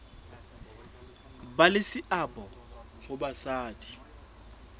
ba le seabo ha basadi